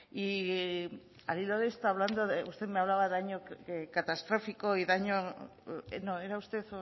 y al hilo de esto usted me hablaba de daño catastrófico y daño no era usted